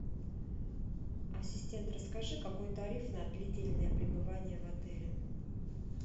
ассистент расскажи какой тариф на длительное пребывание в отеле